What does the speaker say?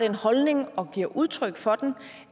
en holdning om